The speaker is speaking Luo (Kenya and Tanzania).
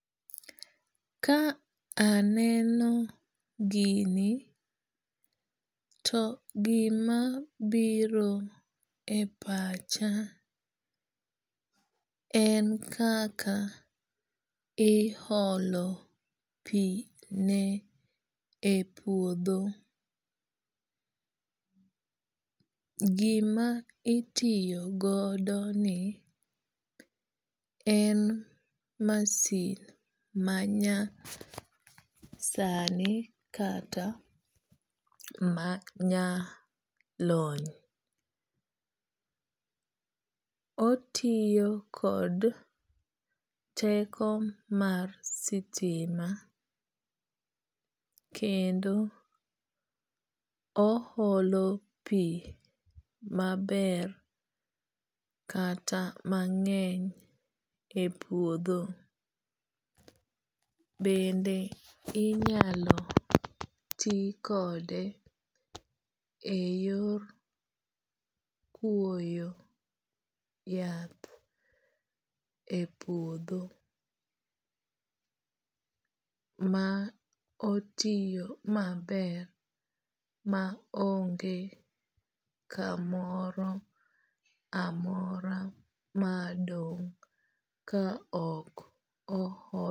Ka aneno gini, to gima biro e pacha en kaka iholo pi ne e puodho. Gima itiyo godo ni en masin manya sani kata ma nya lony. Otiyo kod teko mar sitima kendo o holo pi maber kata mang'eny e puodho. Bende inyalo ti kode e yor kwoyo yath e puodho ma otiyo maber ma onge kamoro amora madong' ka ok o ol.